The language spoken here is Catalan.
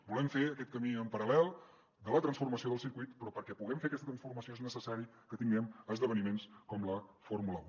volem fer aquest camí en paral·lel de la transformació del circuit però perquè puguem fer aquesta transformació és necessari que tinguem esdeveniments com la fórmula un